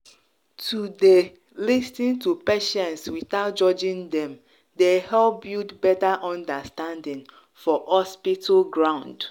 to dey lis ten to patients without judging dem dey help build better understanding for hospital ground.